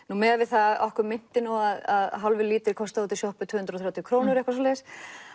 nú miðað við það að okkur minnti að hálfur lítri kostaði út í sjoppu tvö hundruð og þrjátíu krónur eða eitthvað svoleiðis